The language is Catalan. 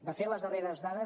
de fet les darreres dades